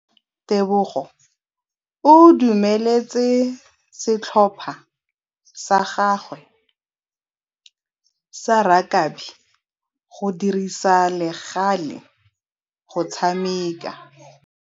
Tebogô o dumeletse setlhopha sa gagwe sa rakabi go dirisa le galê go tshameka.